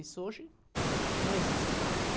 Isso hoje não existe mais, né?